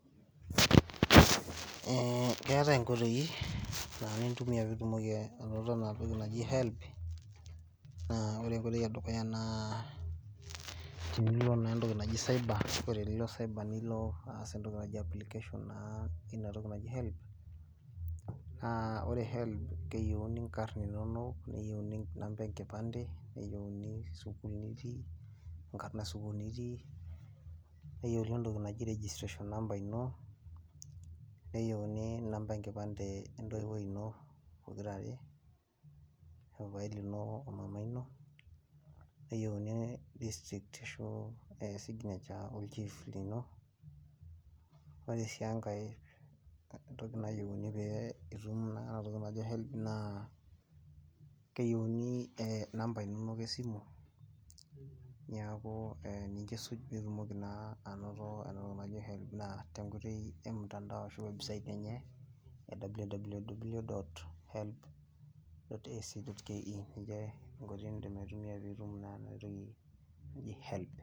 keetae inkotoi naa nitumiya pee itum anoto helb naa ore enkoitoi edukuya naa ilo naa eweji neji cyber keyy